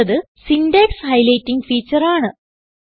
അടുത്തത് syntax highlighting feature ആണ്